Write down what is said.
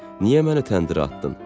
Niyə məni təndirə atdın?